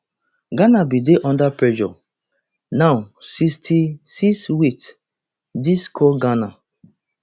ghana bin dey under pressure now sixty-sixwit dis score ghana